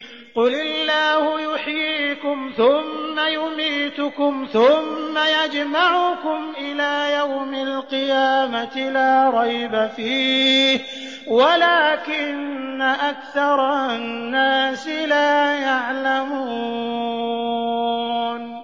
قُلِ اللَّهُ يُحْيِيكُمْ ثُمَّ يُمِيتُكُمْ ثُمَّ يَجْمَعُكُمْ إِلَىٰ يَوْمِ الْقِيَامَةِ لَا رَيْبَ فِيهِ وَلَٰكِنَّ أَكْثَرَ النَّاسِ لَا يَعْلَمُونَ